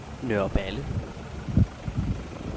Nørreballe